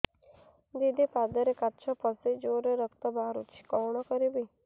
ଦିଦି ପାଦରେ କାଚ ପଶି ଜୋରରେ ରକ୍ତ ବାହାରୁଛି କଣ କରିଵି